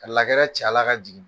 Ka ci a la ka jigin.